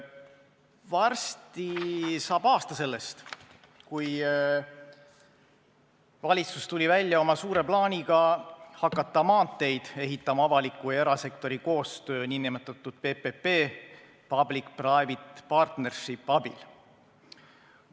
Varsti saab aasta sellest, kui valitsus tuli välja oma suure plaaniga hakata maanteid ehitama avaliku ja erasektori koostöö nn PPP ehk public-private partnership'i abil.